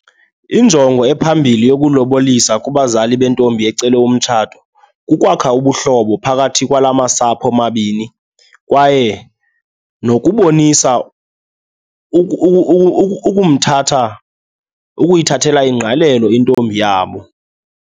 Injongo ephambili yokulobolisa kubazali bentombi ecelwe umtshato, kukwakha ubuhlobo phakathi kwalamasapho amabini kwaye nokubonisa ukumthatha, ukuyithathela ingqalelo intombi yabo.